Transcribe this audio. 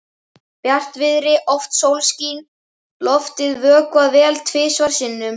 Bjartviðri, oft sólskin, loftið vökvað vel tvisvar sinnum.